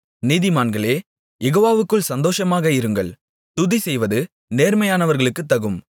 நீதிமான்களே யெகோவாவுக்குள் சந்தோஷமாக இருங்கள் துதிசெய்வது நேர்மையானவர்களுக்குத் தகும்